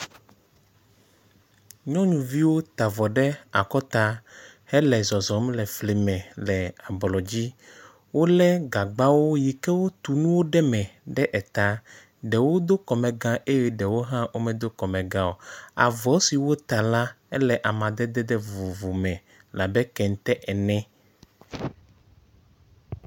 Nyɔnuviwo ta avɔ ɖe akɔta hele zɔzɔm le fli me le ablɔ dzi. Wo le gagbawo yi ke wotu nuwo ɖe eme ɖe eta. Ɖewo do kɔmega eye ɖewo medo kɔmega o. Avɔ siwo wota la ele amadede vovovo me labe kente ene.